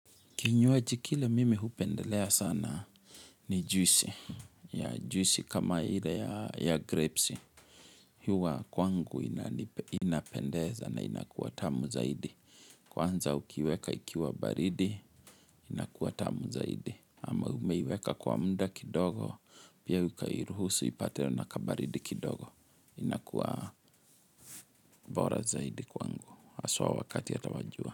Kinywaji kile mimi hupendelea sana ni juisi. Ya juisi kama ile ya grapes. Huwa kwangu inapendeza na inakuwa tamu zaidi. Kwanza ukiweka ikiwa baridi, inakuwa tamu zaidi. Ama umeiweka kwa muda kidogo, pia ukairuhusu ipatwe na kabaridi kidogo. Inakuwa bora zaidi kwangu. AHaswa wakati hata wa jua.